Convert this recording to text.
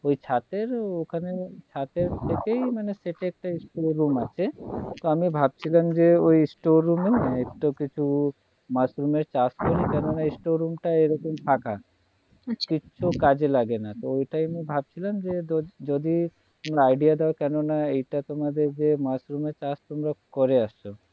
আচ্ছা কিছু কাজে লাগে না তো ওটাই আমি ভাবছিলাম যে যদি idea দাও কেন না এটা তোমাদের যে মাশরুম এর চাষ তোমরা করে আসছো